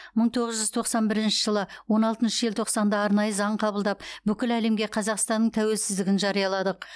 мың тоғыз жүз тоқсан бірінші жылы он алтыншы желтоқсанда арнайы заң қабылдап бүкіл әлемге қазақстанның тәуелсіздігін жарияладық